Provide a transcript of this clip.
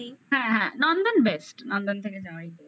হ্যাঁ হ্যাঁ নন্দন best নন্দন থেকে যাওয়াই best